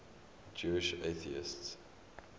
jewish atheists